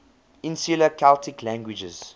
insular celtic languages